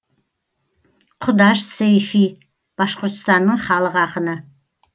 құдаш сейфи башқұртстанның халық ақыны